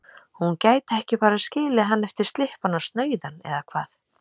Hún gæti ekki bara skilið hann eftir slyppan og snauðan, eða hvað?